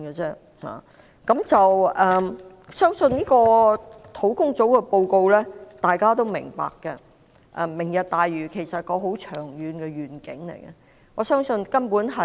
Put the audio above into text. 相信專責小組的報告，大家都是明白的，而"明日大嶼"是一個很長遠的願景，我相信根本是......